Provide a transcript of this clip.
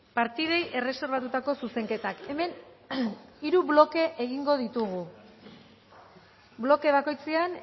partidei erreserbatutako zuzenketak hemen hiru bloke egingo ditugu bloke bakoitzean